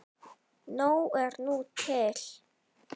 Nóg er nú til.